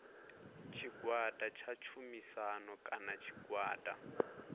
tshigwada tsha tshumisano kana tshigwada